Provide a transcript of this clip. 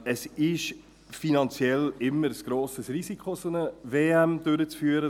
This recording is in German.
Es ist finanziell immer ein grosses Risiko, eine solche WM durchzuführen.